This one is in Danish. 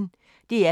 DR P1